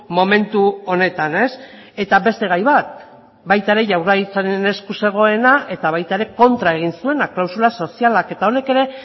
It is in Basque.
momentu honetan eta beste gai bat baita ere jaurlaritzaren esku zegoena eta baita ere kontra egin zuena klausula sozialak eta honek ere